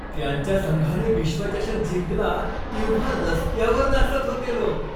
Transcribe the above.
त्यांच्या संघाने विश्वचषक जिंकला तेव्हा रस्त्यावर नाचत होते लोक.